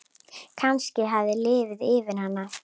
Kannski hafði liðið yfir hana.